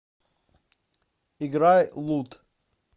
играй лут